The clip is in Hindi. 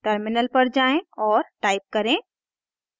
टर्मिनल पर जाएँ और टाइप करें